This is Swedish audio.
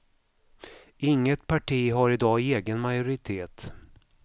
Inget parti har i dag egen majoritet.